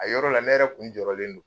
A yɔrɔ la, ne yɛrɛ kun jɔrɔlen don